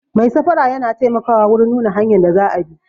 Mai safara yana taimakawa wurin nuna hanyan da za a bi